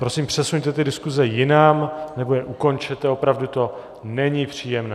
Prosím, přesuňte ty diskuse jinam, nebo je ukončete, opravdu to není příjemné.